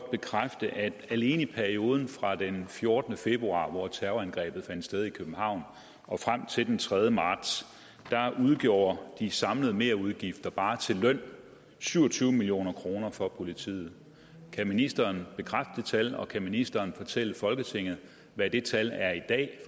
bekræfte at alene i perioden fra den fjortende februar hvor terrorangrebet fandt sted i københavn frem til den tredje marts udgjorde de samlede merudgifter bare til løn syv og tyve million kroner for politiet kan ministeren bekræfte det tal og kan ministeren fortælle folketinget hvad det tal er i dag